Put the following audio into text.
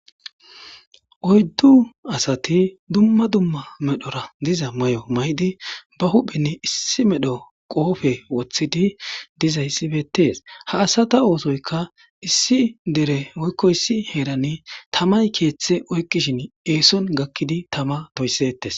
oyddu asati dumma dumma medhora diza may7o may7di ba huhphinne issi medho qoofe woththidi diza issibetes ha asata oosoyka issi dere woykko issi heerani tamay keeththe oykkishin eeson gakkidi tama toysettes